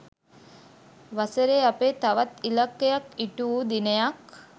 වසරේ අපේ තවත් ඉලක්කයක් ඉටු වු දිනයක්‘